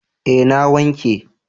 Eh na wanke.